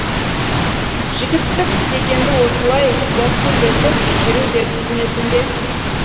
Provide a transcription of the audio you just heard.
жігіттік дегенді осылай гәккулетіп жүру деп түсінесің бе